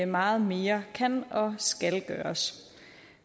meget mere kan og skal gøres